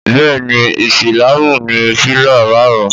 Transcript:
Bẹ́ẹ̀ni Ísílàmù ní pílà márùn-ún